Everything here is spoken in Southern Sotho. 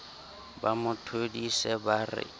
ba mo thodise ba re